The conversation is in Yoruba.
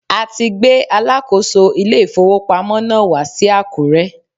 A ti gbé alákòóso ilé ìfowópamọ́ náà wá sí Àkúrẹ́.